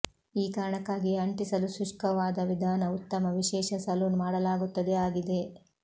ಈ ಕಾರಣಕ್ಕಾಗಿಯೇ ಅಂಟಿಸಲು ಶುಷ್ಕವಾದ ವಿಧಾನ ಉತ್ತಮ ವಿಶೇಷ ಸಲೂನ್ ಮಾಡಲಾಗುತ್ತದೆ ಆಗಿದೆ